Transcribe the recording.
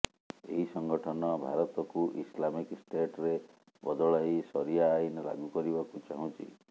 ଏହି ସଂଗଠନ ଭାରତକୁ ଇସଲାମିକ ଷ୍ଟେଟରେ ବଦଳାଇ ସରିୟା ଆଇନ ଲାଗୁ କରିବାକୁ ଚାହୁଁଛି